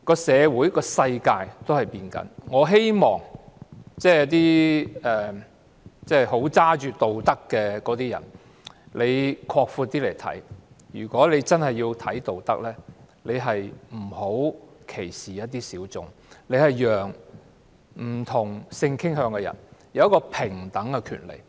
社會和世界正在改變，我希望高舉道德旗幟的人更擴闊眼光來看，如果他真的重視道德，便不要歧視一些小眾，要讓不同性傾向的人有平等的權利。